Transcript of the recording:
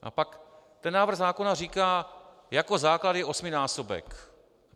A pak ten návrh zákona říká: jako základ je osminásobek.